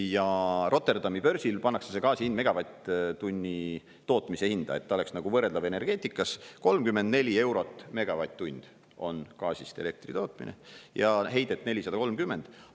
Ja Rotterdami börsil pannakse see gaasi hind megavatt-tunni tootmise hinda, et ta oleks nagu võrreldav energeetikas – 34 eurot megavatt-tund on gaasist elektri tootmine ja heidet 430 ühikut.